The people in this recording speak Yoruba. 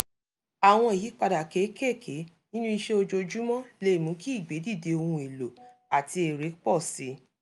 àwọn ìyípadà kéékèèké nínú ìṣe ojoojúmọ́ lè mú kí ìgbèdìde ohun èlòo àti èrè pọ̀ si